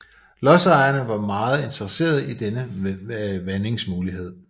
Lodsejerne var meget interesserede i denne vandingsmulighed